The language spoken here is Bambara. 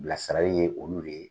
Bilasirali ye olu de ye.